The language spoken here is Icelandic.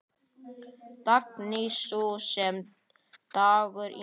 Dagný, sú sem dagur yngir.